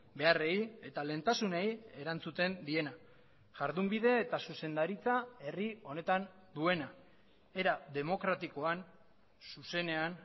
beharrei eta lehentasunei erantzuten diena jardunbide eta zuzendaritza herri honetan duena era demokratikoan zuzenean